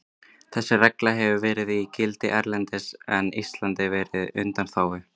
Þessi regla hefur verið í gildi erlendis en Ísland verið á undanþágu.